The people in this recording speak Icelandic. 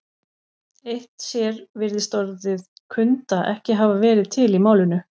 Eitt sér virðist orðið kunda ekki hafa verið til í málinu.